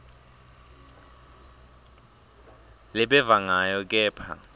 lebeva ngayo kepha